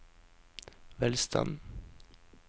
velstanden